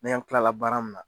Ninan kilala baara min na,